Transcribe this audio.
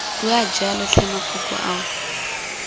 bue jalo tlhe mafoko ao